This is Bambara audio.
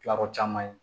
Kilayɔrɔ caman ye